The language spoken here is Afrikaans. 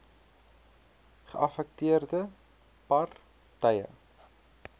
geaffekteerde par tye